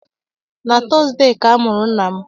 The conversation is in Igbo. Na Tọọzdee ka a mụrụ nna m.